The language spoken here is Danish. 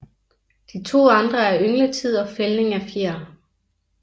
De to andre er yngletid og fældning af fjer